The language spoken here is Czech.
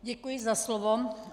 Děkuji za slovo.